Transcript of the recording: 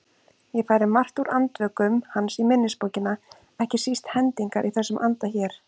Ég færi margt úr Andvökum hans í minnisbókina, ekki síst hendingar í þessum anda hér